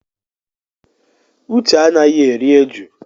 Uche anaghị eri eju.